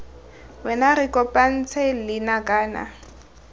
wena re kopanetse leina kana